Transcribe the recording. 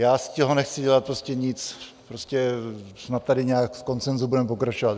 Já z toho nechci dělat prostě nic, prostě snad tady nějak v konsenzu budeme pokračovat.